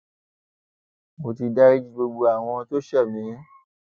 mo ti dariji gbogbo àwọn tó ṣẹ mí